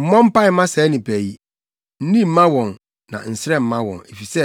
“Mmɔ mpae mma saa nnipa yi, nni mma wɔn na nsrɛ mma wɔn, efisɛ,